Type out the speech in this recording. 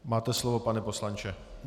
Máte slovo, pane poslanče.